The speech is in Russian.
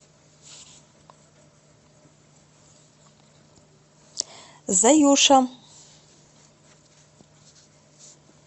заюша